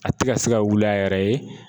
A tɛ ka se ka wuli a yɛrɛ ye.